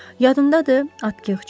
Yadımdadır Atkiç.